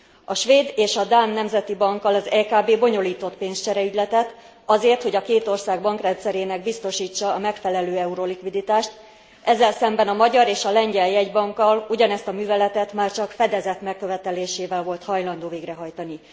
A Svéd és a Dán Nemzeti Bankkal ez EKB bonyolított pénzcsereügyletet azért, hogy a két ország bankrendszerének biztosítsa a megfelelő eurolikviditást, ezzel szemben a magyar és a lengyel jegybankkal ugyanezt a műveletet már csak fedezet megkövetelésével volt hajlandó végrehajtani.